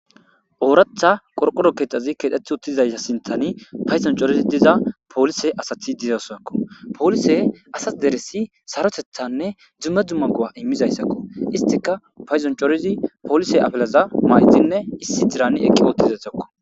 Ooraththa qorqoro keththazi keththetti uuttidayssa sinththanii payddon coriddi diza polise asati dizaso polisey asa dere saaroteththanne dumma dumma go'a iimizayssakko istikka payddon coriddi polise afalaza mayidinne issi diiranni eeqi uuttidayssakko